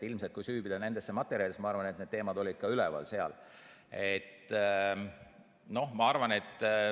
Ilmselt, kui süübida nendesse materjalidesse, võib näha, need teemad olid seal ka üleval.